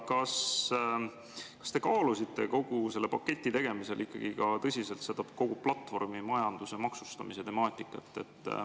Ja kas te kaalusite kogu selle paketi tegemisel ka tõsiselt kogu platvormimajanduse maksustamise temaatikat?